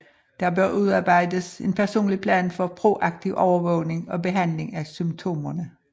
Der bør udarbejdes en personlig plan for proaktiv overvågning og behandling af symptomerne